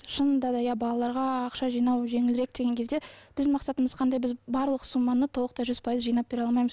шынында да иә балаларға ақша жинау жеңілірек деген кезде біздің мақсатымыз қандай біз барлық сумманы толықтай жүз пайыз жинап бере алмаймыз